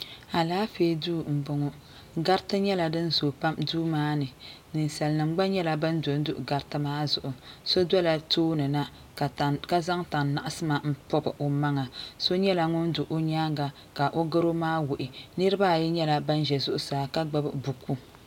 alaanƒɛ do n bɔŋɔ garitɛ nyɛla din zuyi pam do maa ni nɛsalinima gba nyɛla ban do n do maa ni so dola tuuni na ka zaŋ tani naɣisima pɛli o maŋa so nyɛla ŋɔ do o nyɛŋa ka o goro maa wuɣ' niribaayi nyɛla ban ʒɛ zʋɣ' saa ka gbabi buku